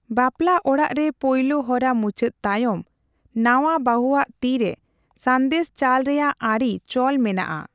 ᱵᱟᱯᱞᱟ ᱚᱲᱟᱜ ᱨᱮ ᱯᱳᱭᱞᱳ ᱦᱚᱨᱟ ᱢᱩᱪᱟᱹᱫ ᱛᱟᱭᱚᱢ, ᱱᱟᱣᱟ ᱵᱟᱦᱩᱣᱟᱜ ᱛᱤ ᱨᱮ ᱥᱟᱸᱫᱮᱥ ᱪᱟᱞ ᱨᱮᱭᱟᱜ ᱟᱹᱨᱤ ᱪᱚᱞ ᱢᱮᱱᱟᱜᱼᱟ ᱾